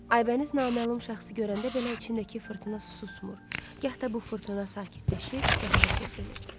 Aybəniz naməlum şəxsi görəndə belə içindəki fırtına susmur, gah da bu fırtına sakitləşib qəhərə çevrilirdi.